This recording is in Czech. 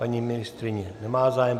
Paní ministryně nemá zájem.